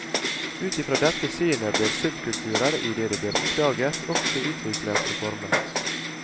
Ut i fra dette synet blir subkulturer, idet de blir oppdaget, også utviklet og formet.